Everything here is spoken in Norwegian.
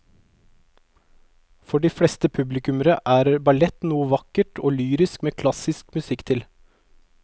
For de fleste publikummere er ballett noe vakkert og lyrisk med klassisk musikk til.